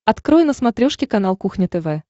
открой на смотрешке канал кухня тв